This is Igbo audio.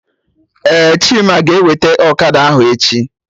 Ee, Chima ga-eweta Okada ahụ echi